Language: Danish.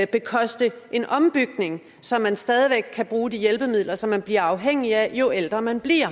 bekoste en ombygning så man stadig væk kan bruge de hjælpemidler som man bliver afhængig af jo ældre man bliver